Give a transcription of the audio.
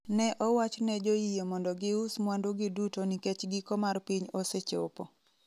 Ne owach ne joyie mondo gius mwandugi duto nikech giko mar piny osechopo.